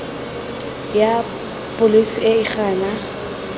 ya pholesi e e gona